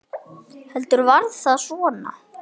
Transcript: Heldur var það svona!